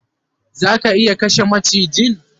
Zaka iya kashe macijin?